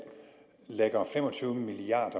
lægger fem og tyve milliard